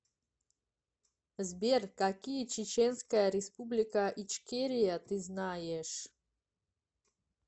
сбер какие чеченская республика ичкерия ты знаешь